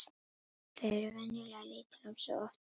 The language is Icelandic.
Þau eru venjulega lítil um sig og oft djúp.